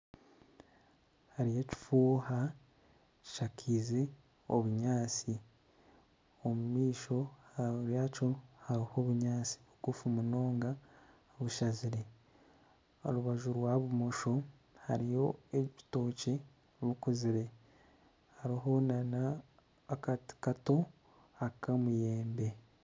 Hariyo ekifuuha kishakaize obunyaatsi. Omu maisho yakyo hariho obunyaatsi bugufu munonga bushazire. Aha rubaju rwa bumosho hariyo ebitookye bikuzire hariho nana akati kato ak'omuyembe.